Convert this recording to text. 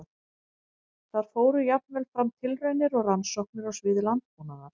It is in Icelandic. Þar fóru jafnvel fram tilraunir og rannsóknir á sviði landbúnaðar.